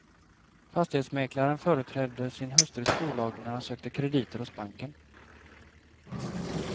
Fastighetsmäklaren företrädde sin hustrus bolag när han sökte krediter hos banken.